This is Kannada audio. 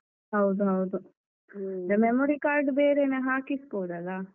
ಹೌದು ಹೌದು. ಹ್ಮ memory card ಬೇರೆನೆ ಹಾಕಿಸ್ಬೋದಲ್ಲ.